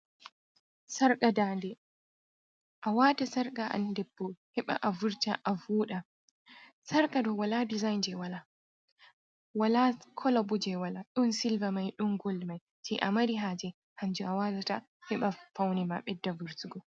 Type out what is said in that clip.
Sarƙa daande, a wata sarƙa an ɗebbo heɓa a vurta a voɗa, sarƙa ɗo wala dizain je wala, wala kola ɓo je wala, ɗon silva mai, ɗon gol mai, ji a mari haaje hanjum a watata, heɓa faune ma ɓedda vurtugo.